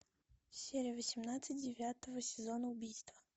серия восемнадцать девятого сезона убийство